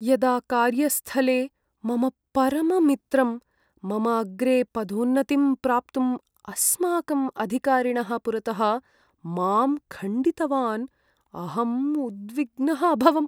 यदा कार्यस्थले मम परममित्रं मम अग्रे पदोन्नतिं प्राप्तुम् अस्माकम् अधिकारिणः पुरतः मां खण्डितवान् अहम् उद्विग्नः अभवम्।